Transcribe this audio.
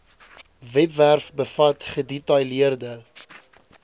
webwerf bevat gedetailleerde